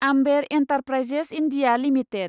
Amber enterprises India limited